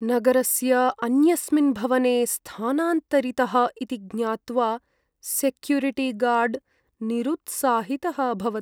नगरस्य अन्यस्मिन् भवने स्थानान्तरितः इति ज्ञात्वा सेक्युरिटिगार्ड् निरुत्साहितः अभवत्।